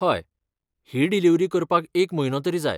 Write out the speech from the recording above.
हय, ही डिलीव्हरी करपाक एक म्हयनो तरी जाय.